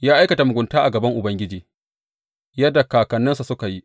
Ya aikata mugunta a gaban Ubangiji, yadda kakanninsa suka yi.